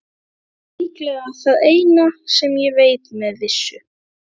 Það er líklega það eina sem ég veit með vissu.